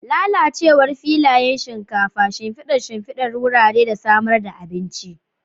Lalacewar filayen shinkafa, shimfidar shimfidar wurare da samar da abinci.